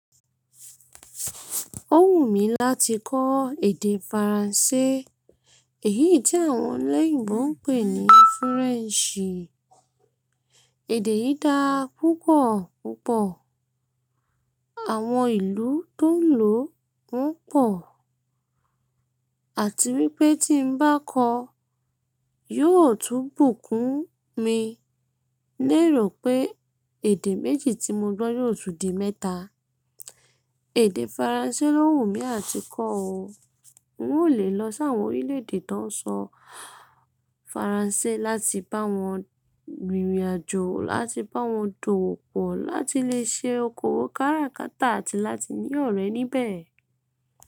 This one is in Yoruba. Ó wù mí láti kọ́ èdè Faransé, èyí tí àwọn olóyèbo ń pè ní French. Èdè yìí dáa púpọ̀ púpọ̀, àwọn ìlú tó ń lò wón pọ̀, àti wípé tí n bá kọ́, yóò tún bùkún mi ní èrò pé èdè méjì tí mo gbọ̀ yóò tun di mẹ́ta. Èdè Faransé ló wù mí àti kọ́ o. N ó lè lọ sí àwọn orílẹ̀ èdè tó ń sọ Faransé láti bá wọn rìnrìn àjò, láti bá wọn dòwò pọ̀, láti lè ṣe okòwò káràkátà àti láti ní ọ̀rẹ́ níbẹ̀.